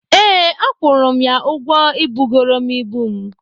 Ee, akwụru m ya ụgwọ ibugoro m ibu m.